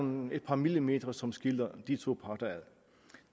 et par millimeter som skiller de to parter ad